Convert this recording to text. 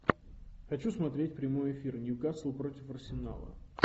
хочу смотреть прямой эфир ньюкасл против арсенала